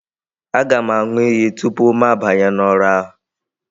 Aga m aṅụ iyi tupu mụ abanye n'ọrụ ahụ